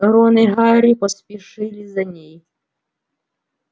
рон и гарри поспешили за ней